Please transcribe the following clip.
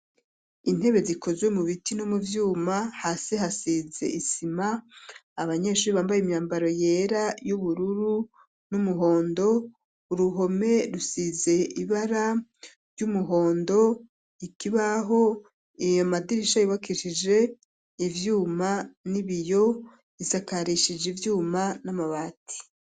Intebe zikozwe mu biti no mu vyuma, hasi hasize isima ,abanyeshuri bambaye imyambaro yera y'ubururu n'umuhondo ,uruhome rusize ibara ry'umuhondo ,ikibaho iyo madirisha ibakishije ivyuma n'ibiyo ,isakarishije ivyuma n'amabati.